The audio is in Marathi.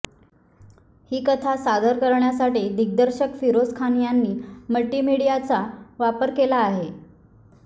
ही कथा सादर करण्यासाठी दिग्दर्शक फिरोझ खान यांनी मल्टिमीडियाचा वापर केला आहे